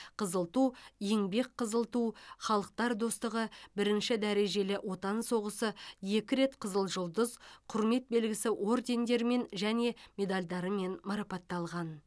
қызыл ту еңбек қызыл ту халықтар достығы бірінші дәрежелі отан соғысы екі рет қызыл жұлдыз құрмет белгісі ордендерімен және медальдармен марапатталған